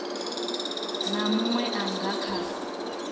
na munwe a nga kha